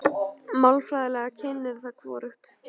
Málfræðilega kynið er því hvorugkyn.